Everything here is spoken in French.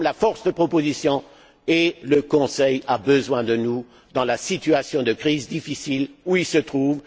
Nous sommes la force de proposition et le Conseil a besoin de nous dans la situation de crise difficile où il se trouve.